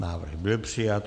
Návrh byl přijat.